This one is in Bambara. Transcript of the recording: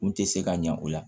N tɛ se ka ɲa o la